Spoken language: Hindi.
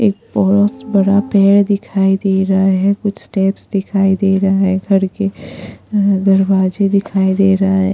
एक बहुत बड़ा पैर दिखाई दे रहा है कुछ स्टेप्स दिखाई दे रहा है घर के दरवाजे दिखाई दे रहा है।